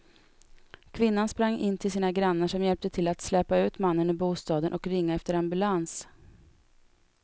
Kvinnan sprang in till sina grannar som hjälpte till att släpa ut mannen ur bostaden och ringa efter ambulans.